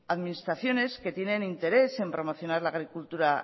administraciones que tienen interés en promocionar la agricultura